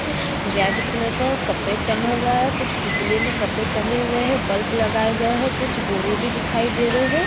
एक red colour का carpet टंगा हुआ है कुछ पुतले में कपड़े टंगे हुऐ हैं बल्ब लगाय गए है कुछ बोरे भी दिखाई दे रहें हैं।